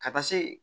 Ka taa se